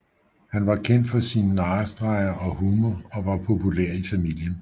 Han var kendt for sin narrestreger og humor og var populær i familien